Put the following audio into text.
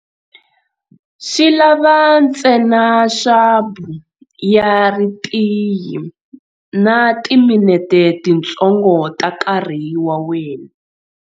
Swi lava ntsena swabu ya ritiyi na timinete tintsongo ta nkarhi wa wena.